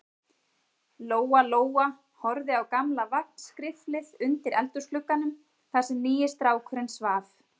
Lóa-Lóa horfði á gamla vagnskriflið undir eldhúsglugganum, þar sem nýi strákurinn svaf.